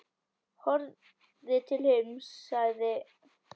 Horfði til himins og sagði: